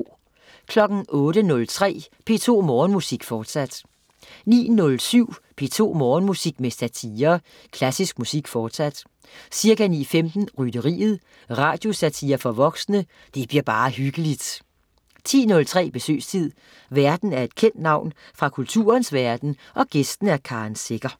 08.03 P2 Morgenmusik, forsat 09.07 P2 Morgenmusik med satire. Klassisk musik, fortsat. Ca. 9.15: Rytteriet. Radiosatire for voksne. Det bliver bare hyggeligt 10.03 Besøgstid. Værten er et kendt navn fra kulturens verden, gæsten er Karen Secher